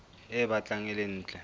e batlang e le ntle